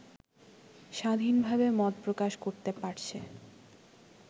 স্বাধীনভাবে মত প্রকাশ করতে পারছে